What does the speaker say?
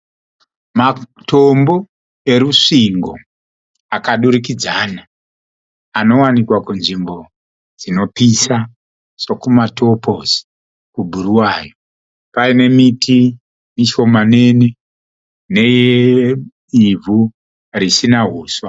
Matombo erusvingo akadurikidzana. Anowanikwa kunzvimbo dzinopisa seku Matoposi kuBuruwayo. Paine miti mishomanini neivhu risina huswa.